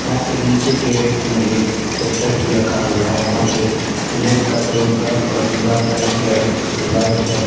यहां पे नीचे के रैक में चद्दर भी रखा हुआ है यहां पे स्लैब का कलर ब्लैक और दीवाल का कलर व्हाइट है।